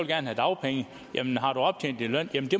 have dagpenge